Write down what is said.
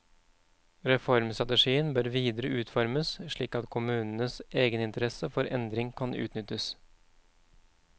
Reformstrategien bør videre utformes slik at kommunens egeninteresse for endring kan utnyttes.